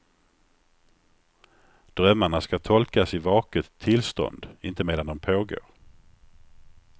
Drömmarna ska tolkas i vaket tillstånd, inte medan de pågår.